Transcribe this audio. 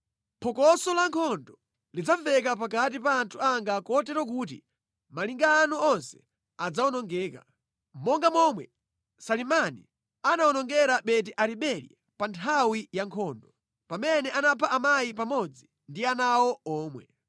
phokoso lankhondo lidzamveka pakati pa anthu anga kotero kuti malinga anu onse adzawonongeka, monga momwe Salimani anawonongera Beti-Aribeli pa nthawi ya nkhondo; pamene anapha amayi pamodzi ndi ana awo omwe.